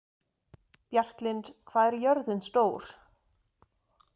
Bjarklind, hvað er jörðin stór?